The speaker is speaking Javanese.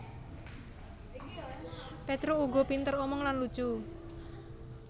Petruk uga pinter omong lan lucu